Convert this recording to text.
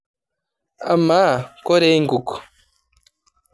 Amaa koree inkuk?